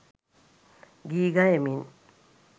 ගී ගයමින්